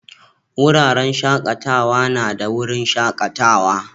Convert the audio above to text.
Wuraren shakatawa na da wurin shakatawa.